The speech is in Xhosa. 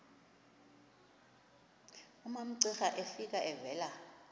umamcira efika evela